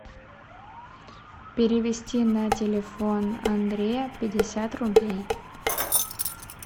перевести на телефон андрея пятьдесят рублей